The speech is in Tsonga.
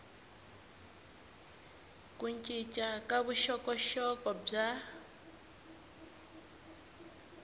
ku cinca ka vuxokoxoko bya